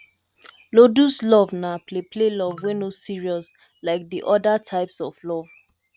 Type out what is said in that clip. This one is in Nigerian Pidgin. ludus love na play play love wey no serious like de oda types of love